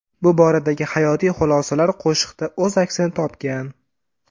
Bu boradagi hayotiy xulosalar qo‘shiqda o‘z aksini topgan.